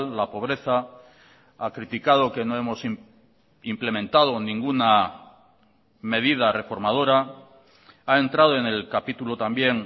la pobreza ha criticado que no hemos implementado ninguna medida reformadora ha entrado en el capítulo también